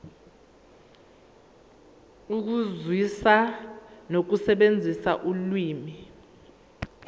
ukuzwisisa nokusebenzisa ulimi